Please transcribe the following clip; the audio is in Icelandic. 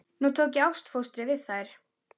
Nú tók ég ástfóstri við þær.